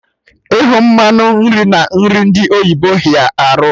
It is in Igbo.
Ịhụ mmanụ nri na nri ndi oyibo hịa arụ